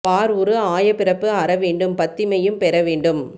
பார் உரு ஆய பிறப்பு அற வேண்டும் பத்திமையும் பெற வேண்டும்